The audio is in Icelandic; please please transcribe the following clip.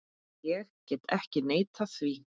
Ég get ekki neitað því.